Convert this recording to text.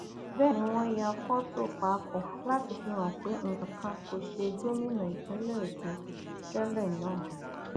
bẹẹ ni wọn ya fọtò papọ láti fi hàn pé nǹkan kan kò ṣe gómìnà ìpínlẹ èkó tẹlẹ náà